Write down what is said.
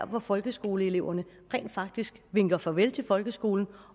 hvor folkeskoleeleverne rent faktisk vinker farvel til folkeskolen